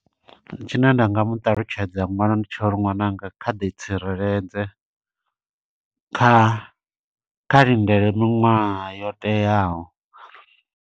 Tshine nda nga mu ṱalutshedza ṅwana, ndi tsha uri ṅwananga kha ḓi tsireledze. Kha kha lindele miṅwaha yo teaho.